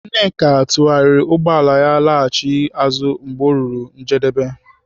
Nnaemeka tụgharịrị ụgbọala ya laghachi azụ mgbe o ruru njedebe.